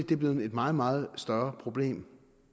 det er blevet et meget meget større problem